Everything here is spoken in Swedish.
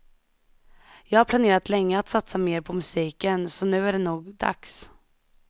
Jag har planerat länge att satsa mer på musiken, så nu är det nog dags.